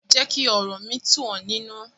Jẹ́ kí ọ̀rọ̀ mi tú ọ̀ nínu.